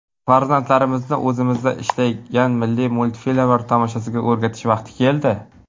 Farzandlarimizni o‘zimizda ishlangan milliy multfilmlar tomoshasiga o‘rgatish vaqti keldi.